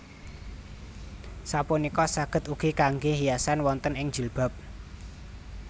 Sapunika saged ugi kangge hiasan wonten ing jilbab